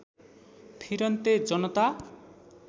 फिरन्ते जनता